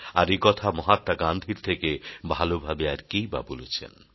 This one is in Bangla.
আর একথা মহাত্মা গান্ধীর থেকে ভালভাবে আর কেই বা বলেছেন